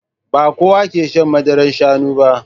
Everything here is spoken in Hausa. Ba kowa ke shan madarar Shanu ba